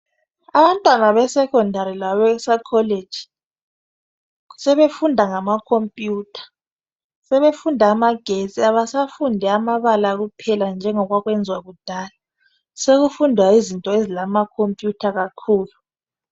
Abantwana be secondary labase college sebefunda ngama computer sebefunda amagetsi abasafundi amabala kuphela njengo kwakwenziwa kudala sokufundwa izinto ezilama computer kakhulu.